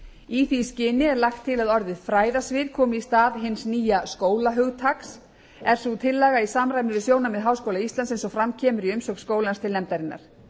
í því skyni er lagt til að orðið fræðasvið komi í stað hins nýja skóla hugtaks er sú tillaga í samræmi við sjónarmið háskóla íslands eins og fram kemur í umsögn skólans til nefndarinnar